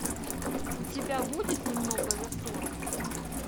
у тебя будет немного за сорок